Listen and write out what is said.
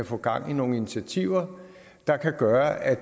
få gang i nogle initiativer der kan gøre at